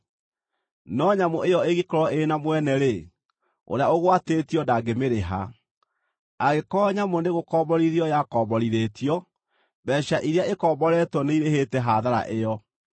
No nyamũ ĩyo ĩngĩkorwo ĩrĩ na mwene-rĩ, ũrĩa ũgwatĩtio ndangĩmĩrĩha. Angĩkorwo nyamũ nĩgũkomborithio yakomborithĩtio, mbeeca iria ĩkomboretwo nĩirĩhĩte hathara ĩyo.